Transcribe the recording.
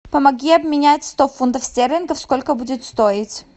помоги обменять сто фунтов стерлингов сколько будет стоить